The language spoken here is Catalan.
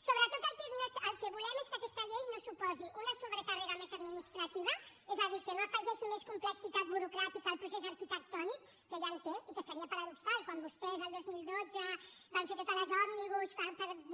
sobretot el que volem és que aquesta llei no suposi una sobrecàrrega més administrativa és a dir que no afegeixi més complexitat burocràtica al procés arquitectònic que ja en té i que seria paradoxal quan vostès el dos mil dotze van fer totes les òmnibus